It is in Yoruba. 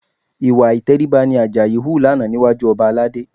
Ìwà ìtẹríba ni Àjàyí hù lánàá níwájú ọba Aládé